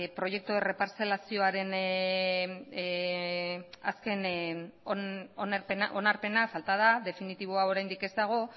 proyecto de reparzelazioaren azken onarpena falta da definitiboa oraindik ez dago